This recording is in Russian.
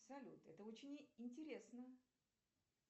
салют это очень интересно